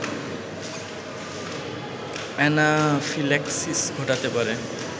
anaphylaxis ঘটাতে পারে